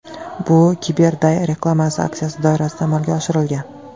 Bu CyberDay reklama aksiyasi doirasida amalga oshirilgan.